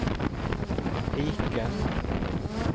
piken